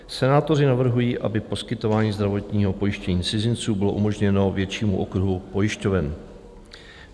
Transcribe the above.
Senátoři navrhují, aby poskytování zdravotního pojištění cizinců bylo umožněno většímu okruhu pojišťoven.